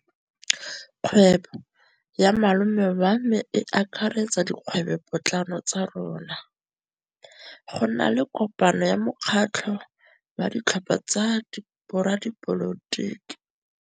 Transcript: Kgwêbô ya malome wa me e akaretsa dikgwêbôpotlana tsa rona. Go na le kopanô ya mokgatlhô wa ditlhopha tsa boradipolotiki.